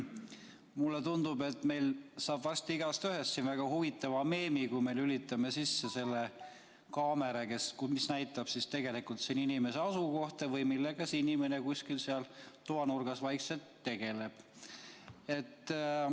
Mulle tundub, et meil saab varsti igaühest väga huvitava meemi teha, kui lülitame sisse kaamera, mis näitab inimese asukohta või seda, millega inimene seal kuskil toanurgas vaikselt tegeleb.